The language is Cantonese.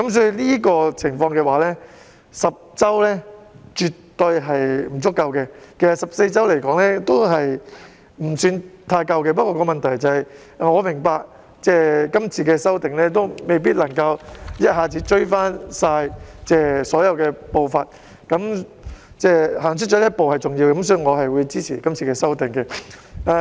在這情況下 ，10 周產假絕對是不足夠的，其實14周也未算足夠，但我明白到今次修訂未必能夠一次過追回所有步伐，但踏出這一步便是重要的，所以我是會支持今次對條例的修訂。